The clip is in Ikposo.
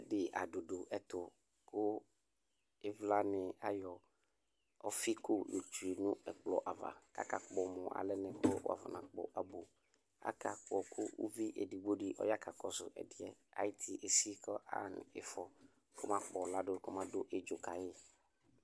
ɛdi ado do ɛto ko ivla ni ayɔ ɔfi ko yɔ otsue no ɛkplɔ ava ko aka kpɔ mo alɛ ko wa fɔna kpɔ abo aka kpɔ ko uvi edigbo di ɔya ka kɔso ɛdiɛ ay'iti esi ko aɣa no ifɔ k'ɔma kpɔ lado kɔma do idzu kayi